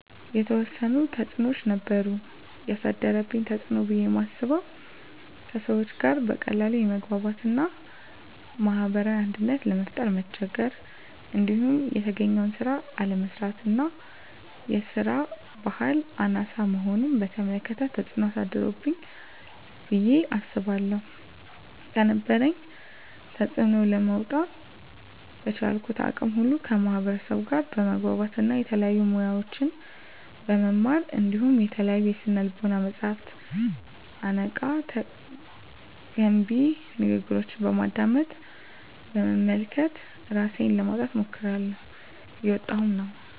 የተዎሰኑ ተፅኖዎች ነበሩ። የአሳደረብኝ ተፅኖ ብየ ማስበው:- ከሰዎች ጋር በቀላሉ የመግባባት እና ማህበራዊ አንድነትን ለመፍጠር መቸገር። እንዲሁም የተገኘውን ስራ አለመስራት እና የስራ በህል አናሳ መሆንን በተመለከተ ተፅኖ አሳድሮብኛል ብየ አስባለሁ። ከነበረብኝ ተፅኖ ለመውጣ:- በቻልኩት አቅም ሁሉ ከማህበርሰቡ ጋር በመግባባት እና የተለያዩ ሙያዎችን በመማር እንዲሁም የተለያዩ የስነ ልቦና መፀሀፍትንና አነቃ፣ ገንቢ ንግግሮችን በማድመጥ፣ በመመልከት እራሴን ለማውጣት ሞክሬላሁ። እየወጣሁም ነው።